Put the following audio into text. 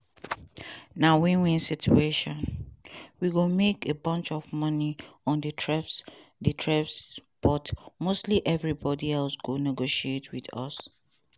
"na win-win situation… we go make a bunch of money on di tariffs di tariffs but mostly evribody else go negotiate wit us."